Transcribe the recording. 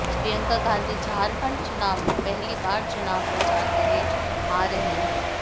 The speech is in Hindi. प्रियंका गांधी झारखंड चुनाव में पहली बार चुनाव प्रचार के लिए आ रही है